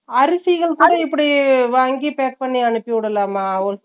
அரிசிகள் கூட இப்பிடி வாங்கி pack பண்ணி அனுப்பி விடலாமா ?